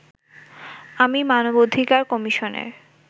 আমি মানবাধিকার কমিশনের